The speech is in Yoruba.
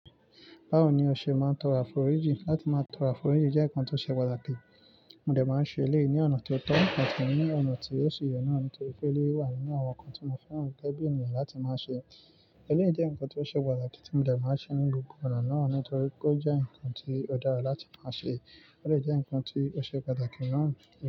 Báwo ni o ṣe máa ń tọrọ àforíjì? Látí má tọrọ àforíjì jẹ́ ǹkan ti o ṣe pàtàkì. Mo dẹ̀ má ń ṣe èléyii ní ọ̀nà ti o tọ́ àti ní ọ̀nà tí ó si ye náà nítorí pé eleyii wà nínú àwọn nǹkan tí mo fẹ́ràn gẹ́gẹ́ bí ènìyàn láti máa ṣe. Eléyìí jẹ́ nǹkan ti o ṣe pàtàkì tí mo dẹ̀ máa ń ṣe ní gbogbo igba náà nítorí o jẹ́ nǹkan tí ó dára láti máa ṣe, ó sì jẹ́ nǹkan tí ó ṣe pàtàkì naa.